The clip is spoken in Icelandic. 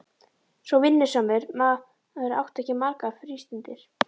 Svo vinnusamur maður átti ekki margar frístundir.